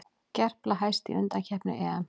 Gerpla hæst í undankeppni EM